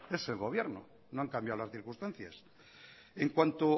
es el gobierno no han cambiado las circunstancias en cuanto